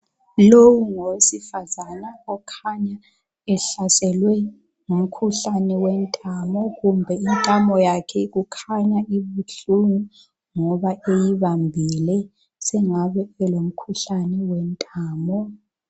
lowu ngowesifazana okhanya ehlaselwe ngumkhuhlane yentamo intamo yakhe ikhanya ibuhlungu yikho eyibambile sokungabe elemikhuhlane wentamo.